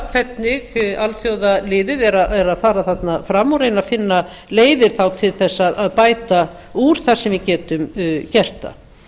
hvernig alþjóðaliðið er að fara þarna fram og reyna að finna leiðir þá til þess að bæta úr þar sem við getum gert það